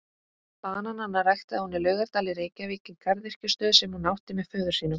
Bananana ræktaði hún í Laugardal í Reykjavík í garðyrkjustöð sem hún átti með föður sínum.